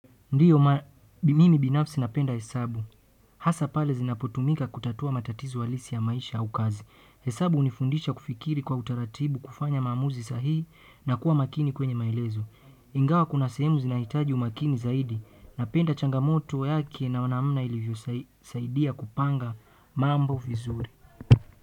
Ndio maana mimi binafsi napenda hesabu hasa pale zinapotumika kutatua matatizo halisi ya maisha au kazi. Hesabu hunifundisha kufikiri kwa utaratibu kufanya maamuzi sahihi na kuwa makini kwenye maelezo. Ingawa kuna sehemu zinahitaji umakini zaidi. Napenda changamoto yake na namna ilivyosaidia kupanga mambo vizuri.